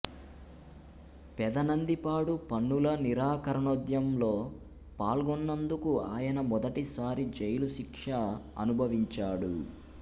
పెదనందిపాడు పన్నుల నిరాకరణోద్యంలో పాల్గొన్నందుకు ఆయన మొదటిసారి జైలు శిక్ష అనుభవించాడు